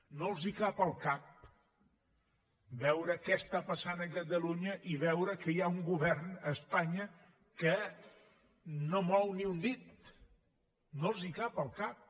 no els cap al cap veure què està passant a catalunya i veure que hi ha un govern a espanya que no mou ni un dit no els cap al cap